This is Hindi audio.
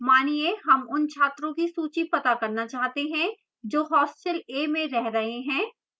मानिए हम उन छात्रों की सूची पता करना चाहते हैं जो hostel a में रह रहे हैं